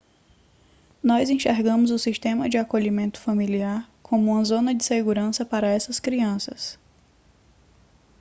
nós enxergamos o sistema de acolhimento familiar como uma zona de segurança para essas crianças